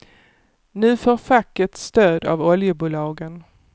Nu får facket stöd av oljebolagen.